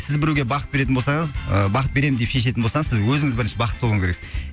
сіз біреуге бақыт беретін болсаңыз ы бақыт беремін деп шешетін болсаңыз сіз өзіңіз бірінші бақытты болуыңыз керексіз